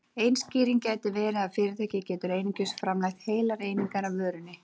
Ein skýring gæti verið að fyrirtæki getur einungis framleitt heilar einingar af vörunni.